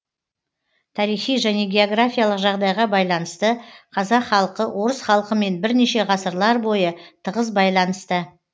тарихи және географиялық жағдайға байланысты қазақ халқы орыс халқымен бірнеше ғасырлар бойы тығыз байланыста